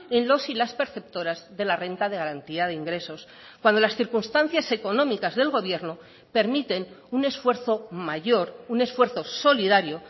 en los y las perceptoras de la renta de garantía de ingresos cuando las circunstancias económicas del gobierno permiten un esfuerzo mayor un esfuerzo solidario